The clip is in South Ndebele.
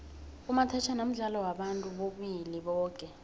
umathajhana mdlalo wabantu bobulili boke